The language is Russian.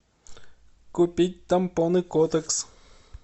купить тампоны котекс